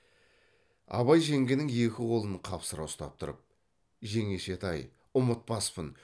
абай жеңгенің екі қолын қапсыра ұстап тұрып жеңешетай ұмытпаспын